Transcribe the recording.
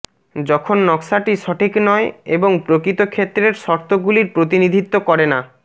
যখন নকশাটি সঠিক নয় এবং প্রকৃত ক্ষেত্রের শর্তগুলির প্রতিনিধিত্ব করে না